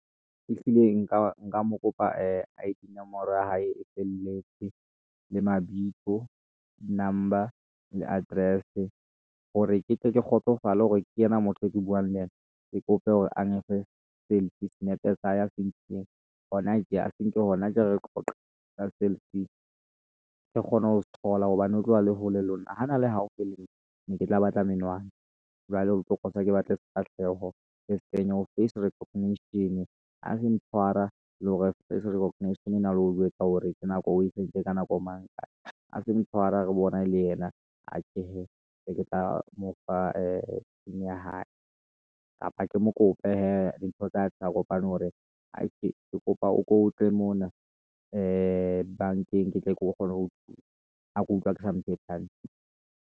Ehlile nka mo kopa ee I-D nomoro ya hae e felletse, le mabitso, number, le address, hore ke tle ke kgotsofale hore ke yena motho eo ke buang le yena. Ke kope hore a mfe selfie, senepe sa hae sa senkileng hona tje, a senke hona jwale re qoqa, ka selfie. ke kgone ho thola hobane o tlo ba le hole lona, ha na le haufi le nna, ne ke tla batla menwana, jwale hotlo kosa ke batle sefahleho, ke se kenye ho face recognition-e. Ha se e tshwara, le hore face recognition ena le ho o jwetsa hore ke nako eo, o hlahise ka nako mang kae, ha se motshwara re bona ele yena, atjhe hee, ke tla mo fa ee pin ya hae, kapa ke mo kope hee, dintho tsa tla kopane hore atjhe ke kopa o ko tle mona, ee bank-eng ke tle ke kgona ho thusa, ha ke utlwa ke sa .